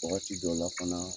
Wagati dɔ la fana